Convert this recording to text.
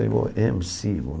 Eu falei, ême ci hum?